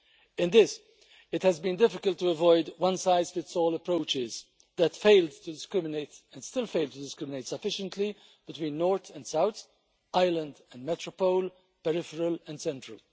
In this, it has been difficult to avoid one-size-fits-all approaches that failed to discriminate and still fail to discriminate sufficiently between north and south, island and metropole, peripheral and central.